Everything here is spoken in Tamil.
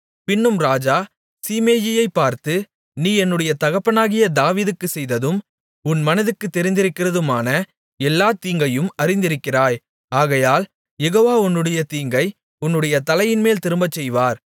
பின்னும் ராஜா சீமேயியைப் பார்த்து நீ என்னுடைய தகப்பனாகிய தாவீதுக்குச் செய்ததும் உன் மனதுக்குத் தெரிந்திருக்கிறதுமான எல்லாத் தீங்கையும் அறிந்திருக்கிறாய் ஆகையால் யெகோவா உன்னுடைய தீங்கை உன்னுடைய தலையின்மேல் திரும்பச்செய்வார்